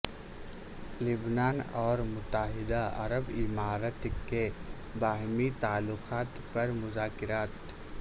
لبنان اور متحدہ عرب امارات کے باہمی تعلقات پر مذاکرات